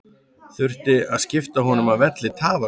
Þurfti að skipta honum af velli tafarlaust.